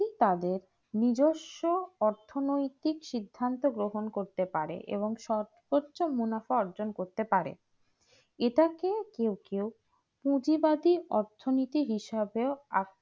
ঠিক তবে নিজস্ব অর্থনৈতিক সিদ্ধান্ত গ্রহণ করতে পারে এবং সর্বোচ্চ মুনাফা অর্জন করতে পারে এটাকে কেউ কেউ পুঁজিবাদী অর্থনৈতিক হিসাবে